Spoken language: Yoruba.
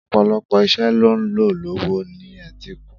Ọ̀pọ̀lọpọ̀ iṣẹ́ ló ń lọ lọ́wọ́ ní etíkun.